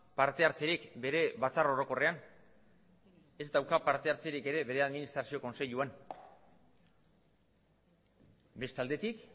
partehartzerik bere batzar orokorrean ez dauka partehartzerik ere bere administrazio kontseiluan beste aldetik